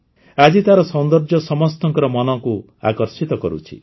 ଆଜି ତାର ସୌନ୍ଦର୍ଯ୍ୟ ସମସ୍ତଙ୍କର ମନକୁ ଆକର୍ଷିତ କରୁଛି